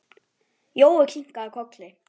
Jói kinkaði kolli.